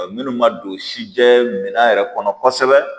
minnu ma don si jɛɛ minɛn yɛrɛ kɔnɔ kosɛbɛ